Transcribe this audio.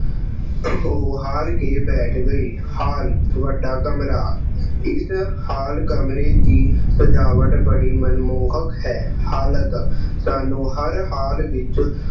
ਹਾਰ ਅਹ ਥੱਕ ਕੇ ਬੈਠ ਗਏ। ਹਾਲ ਵੱਡਾ ਕਮਰਾ, ਇਸ hall ਕਮਰੇ ਦੀ ਸਜਾਵਟ ਬੜੀ ਮਨਮੋਹਕ ਹੈ। ਹਾਲਤ, ਸਾਨੂੰ ਹਰ ਹਾਲ ਅਹ ਹਾਲਤ ਵਿੱਚ